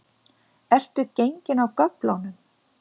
Ertu gengin af göflunum?